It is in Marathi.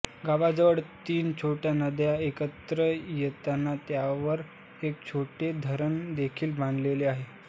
गावाजवळ तिन छोट्या नद्या एकत्र येतात त्यावर एक छोटे धरण देखील बांधलेले आहे